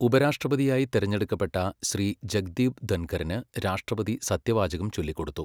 ഉപരാഷ്ട്രപതിയായി തെരെഞ്ഞെടുക്കപ്പെട്ട ശ്രീ ജഗ്ദീപ് ധൻഖറിന് രാഷ്ട്രപതി സത്യവാചകം ചൊല്ലിക്കൊടുത്തു